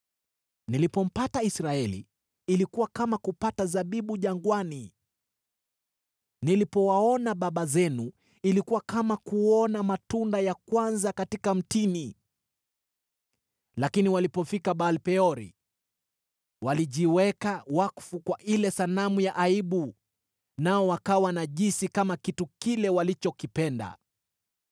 “Nilipompata Israeli, ilikuwa kama kupata zabibu jangwani; nilipowaona baba zenu, ilikuwa kama kuona matunda ya kwanza katika mtini. Lakini walipofika Baal-Peori, walijiweka wakfu kwa ile sanamu ya aibu, nao wakawa najisi kama kitu kile walichokipenda.